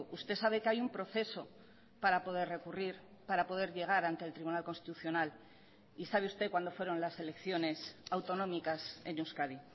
usted sabe que hay un proceso para poder recurrir para poder llegar ante el tribunal constitucional y sabe usted cuándo fueron las elecciones autonómicas en euskadi